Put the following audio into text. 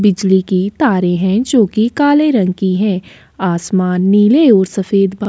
बिजली की तारे हैं जो कि काले रंग की हैं आसमान नीले और सफेद बा --